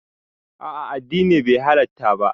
A'a addini bai halatta ba